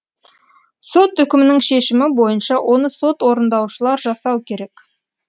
сот үкімінің шешімі бойынша оны сот орындаушылар жасау керек